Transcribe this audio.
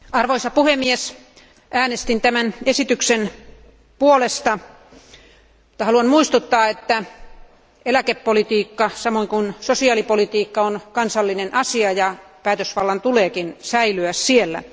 Arvoisa puhemies, äänestin tämän esityksen puolesta, mutta haluan muistuttaa, että eläkepolitiikka, samoin kuin sosiaalipolitiikka, on kansallinen asia ja päätösvallan tulee myös säilyä siellä.